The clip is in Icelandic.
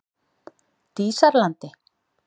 Dísarlandi